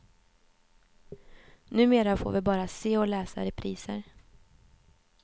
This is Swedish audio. Numera får vi bara se och läsa repriser.